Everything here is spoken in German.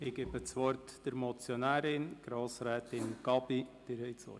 Ich erteile der Motionärin Grossrätin Gabi das Wort.